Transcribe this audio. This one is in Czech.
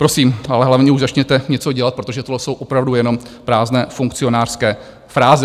Prosím, ale hlavně už začněte něco dělat, protože tohle jsou opravdu jenom prázdné funkcionářské fráze.